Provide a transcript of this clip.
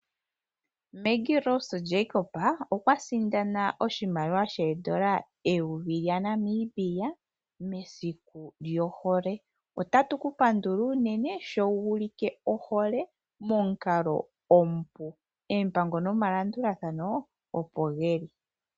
Meggie Rose Jacob okwa sindana oshimaliwa shongushu yondola 1000 lyaNamibia mesiku lyohole. Otatu ku pandula unene sho wu ulike ohole momukalo omupu, oompango nomalandulathano opo geli.